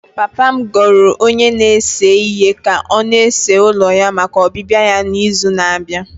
Papa m goro onye na-ese ihe ka ọ na-ese ụlọ ya maka ọbịbịa ya n'izu na-abịa.